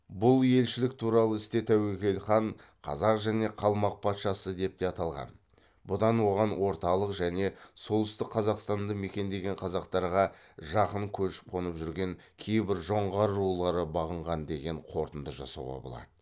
бұл елшілік туралы істе тәуекел хан қазақ және қалмақ патшасы деп те аталған бұдан оған орталық және солтүстік қазақстанды мекендеген қазақтарға жақын көшіп қонып жүрген кейбір жоңғар рулары бағынған деген қорытынды жасауға болады